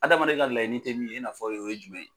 Adamaden ka laɲini tɛ min ye i n'a fɔ o ye jumɛn ye.